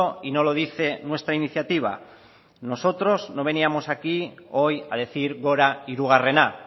y no lo dice nuestra iniciativa nosotros no veníamos aquí hoy a decir gora hirugarrena